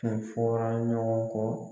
Kun fɔra ɲɔgɔn kɔ.